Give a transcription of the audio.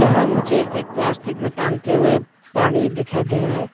यहाँ मुझे एक प्लास्टिक में टांगते हुए पानी दिखाई दे रहे है।